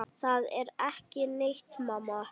Það er ekki neitt, mamma.